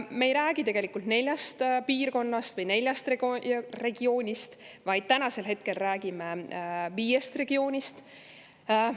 Me ei räägi neljast piirkonnast või neljast regioonist, vaid räägime viiest regioonist.